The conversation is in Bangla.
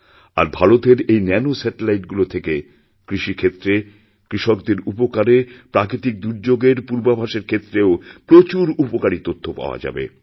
আরভারতের এই ন্যানো স্যাটেলাইটগুলো থেকে কৃষিক্ষেত্রে কৃষকদের উপকারে প্রাকৃতিকদুর্যোগের পূর্বাভাসের ক্ষেত্রেও প্রচুর উপকারী তথ্য পাওয়া যাবে